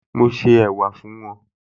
Mo se ẹ̀wà fún wọn